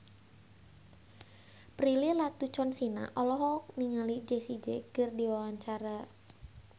Prilly Latuconsina olohok ningali Jessie J keur diwawancara